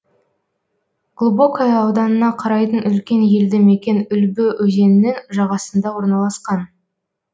глубокое ауданына қарайтын үлкен елді мекен үлбі өзенінің жағасында орналасқан